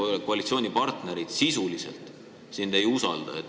Sinu enda koalitsioonipartnerid sisuliselt sind ei usalda.